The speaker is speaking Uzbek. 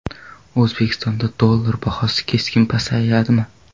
O‘zbekistonda dollar bahosi keskin pasayadimi?.